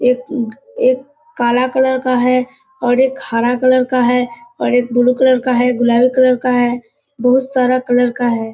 एक एक काला कलर का है और एक हरा कलर का है और एक ब्लू कलर का है गुलाबी कलर का है बोहुत सारा कलर का है।